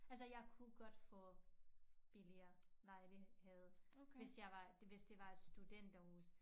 Altså jeg kunne godt få billigere lejlighed hvis jeg var hvis det var et studenterhus